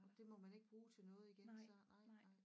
Det må man ikke bruge til noget igen så nej nej